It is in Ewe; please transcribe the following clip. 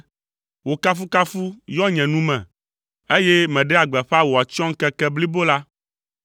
Wò kafukafu yɔ nye nu me, eye meɖea gbeƒã wò atsyɔ̃ŋkeke blibo la.